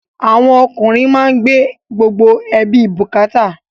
Àwọn ọkùnrin má ń gbé gbogbo ẹbí bukata